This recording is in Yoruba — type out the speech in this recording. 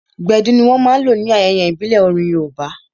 Gbedu ní wọ́n máa n lò ní ayẹyẹ ìbílẹ̀ orin yoòbá